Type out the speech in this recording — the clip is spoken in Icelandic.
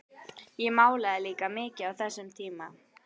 Ég málaði líka mikið á þessum tíma.